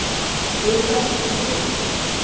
Urban Sundin